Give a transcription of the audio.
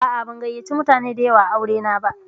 A'a, ban gayyace mutane da yawa aure na ba.